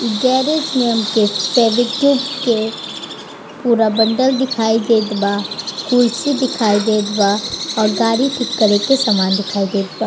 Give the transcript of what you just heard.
इ गेरेज में हमके फेवीक्विक के पूरा बंडल दिखाई देत बा कुर्सी दिखाई देत बा और गाड़ी ठीक करे के सामान दिखाई देत बा।